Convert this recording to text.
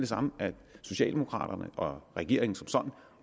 samme at socialdemokraterne og regeringen som sådan